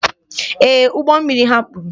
Ee, ụgbọ mmiri ha kpuru.